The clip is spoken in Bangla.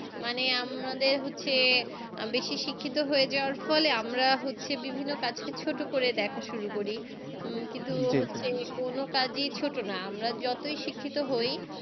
মানে আমাদের হচ্ছে বেশি শিক্ষিত হয়ে যাওয়ার ফলে আমরা হচ্ছে বিভিন্ন কাজকে ছোট করে দেখা শুরু করি উম কিন্তু যেকোন কাজই ছোট না আমরা যতই শিক্ষিত হই